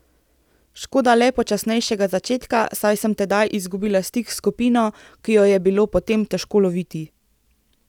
Škoda le počasnejšega začetka, saj sem tedaj izgubila stik s skupino, ki jo je bilo potem težko loviti.